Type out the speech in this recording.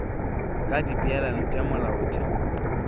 ka dipeelano tša molaotheo wo